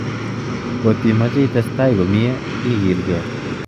Kotimoche itestai komie ikilke